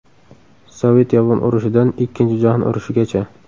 Sovet-yapon urushidan Ikkinchi jahon urushigacha.